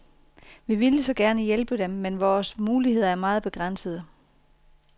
Vi ville så gerne hjælpe dem, men vores muligheder er meget begrænsede.